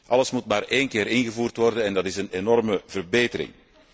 Alles moet maar één keer ingevoerd worden en dat is een enorme verbetering.